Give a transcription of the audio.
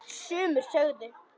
Virtist vera á hans aldri.